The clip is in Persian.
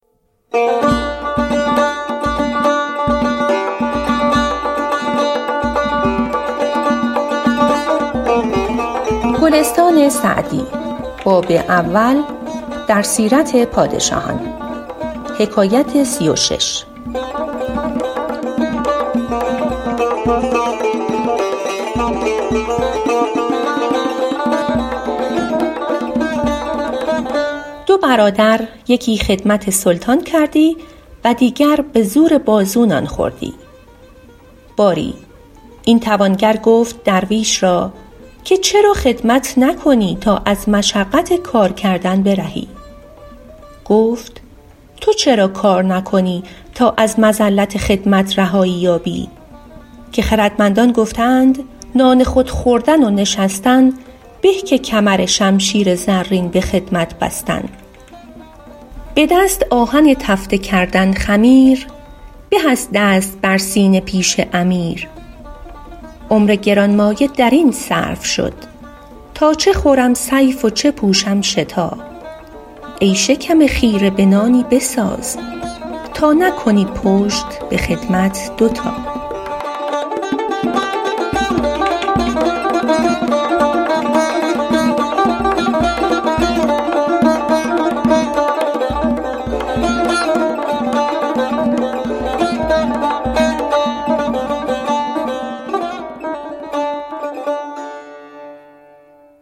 دو برادر یکی خدمت سلطان کردی و دیگر به زور بازو نان خوردی باری این توانگر گفت درویش را که چرا خدمت نکنی تا از مشقت کار کردن برهی گفت تو چرا کار نکنی تا از مذلت خدمت رهایی یابی که خردمندان گفته اند نان خود خوردن و نشستن به که کمرشمشیر زرین به خدمت بستن به دست آهک تفته کردن خمیر به از دست بر سینه پیش امیر عمر گرانمایه در این صرف شد تا چه خورم صیف و چه پوشم شتا ای شکم خیره به تایی بساز تا نکنی پشت به خدمت دو تا